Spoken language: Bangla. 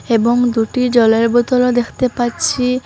এবং দুটি জলের বোতলও দেখতে পাচ্ছি।